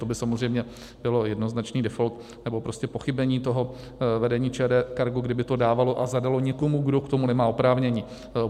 To by samozřejmě bylo jednoznačný default, nebo prostě pochybení toho vedení ČD Cargo, kdyby to dávalo a zadalo někomu, kdo k tomu nemá oprávnění.